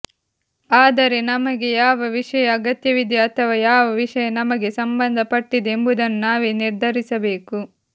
ಆದರೆ ನಮಗೆ ಯಾವ ವಿಷಯ ಅಗತ್ಯವಿದೆ ಅಥವಾ ಯಾವ ವಿಷಯ ನಮಗೆ ಸಂಭಂದಪಟ್ಟಿದೆ ಎಂಬುದನ್ನು ನಾವೇ ನಿರ್ಧರಿಸಬೇಕು